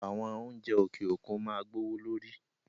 Àwọn oúnjẹ òkè òkun máa gbówó lórí